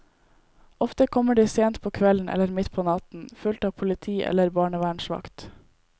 Ofte kommer de sent på kvelden eller midt på natten, fulgt av politi eller barnevernsvakt.